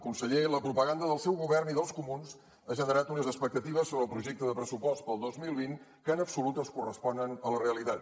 conseller la propaganda del seu govern i dels comuns ha generat unes expectatives sobre el projecte de pressupost per al dos mil vint que en absolut es corresponen amb la realitat